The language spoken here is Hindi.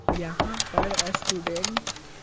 यहां पर स्टूडेंट।